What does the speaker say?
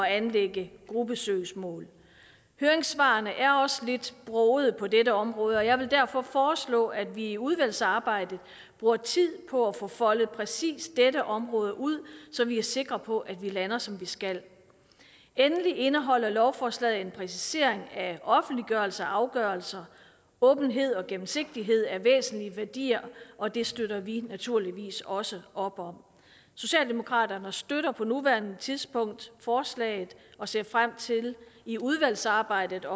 anlægge gruppesøgsmål høringssvarene er også lidt brogede på dette område og jeg vil derfor foreslå at vi i udvalgsarbejdet bruger tid på at få foldet præcis dette område ud så vi er sikre på at vi lander som vi skal endelig indeholder lovforslaget en præcisering af offentliggørelsen af afgørelser åbenhed og gennemsigtighed er væsentlige værdier og det støtter vi naturligvis også op om socialdemokraterne støtter på nuværende tidspunkt forslaget og ser frem til i udvalgsarbejdet